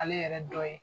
Ale yɛrɛ dɔ ye